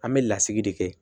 An bɛ lasigi de kɛ